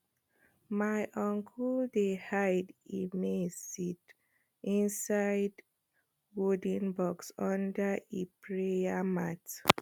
my uncle dey hide e maize seed inside wooden box under e prayer mat